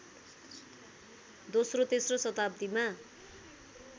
दोस्रो तेस्रो शताब्दीमा